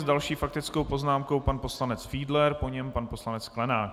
S další faktickou poznámkou pan poslanec Fiedler, po něm pan poslanec Sklenák.